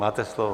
Máte slovo.